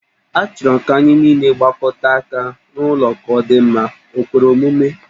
Achọrọ m ka anyị nile gbakọta aka rụọ ụlọ ka ọ dị mma, o kwere omume?